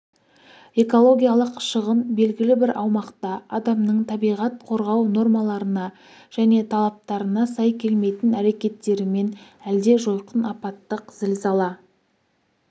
экологиялық шығын белгілі бір аумақта адамның табиғат қорғау нормаларына және талаптарына сай келмейтін әрекеттерімен әлде жойқын апаттық зілзала